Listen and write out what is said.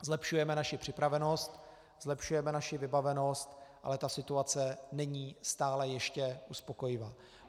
Zlepšujeme naši připravenost, zlepšujeme naši vybavenost, ale ta situace není stále ještě uspokojivá.